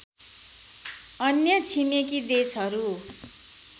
अन्य छिमेकी देशहरू